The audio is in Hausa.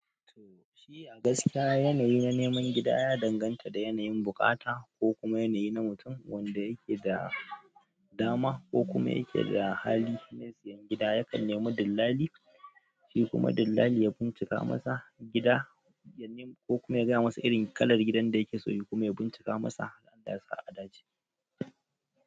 To, shi a gaskiya yanayi na neman gida ya danganta da yanayin buƙata ko kuma yanayi na mutum wanda yake da dama ko kuma yake da hali, mai siyan gida yakan nemo dillali, shi kuma dillali ya bincika masa gida, ko kuma ya gaya masa irin kalar gidan da yake so, ya kuma bincika masa har Allah ya sa a dace.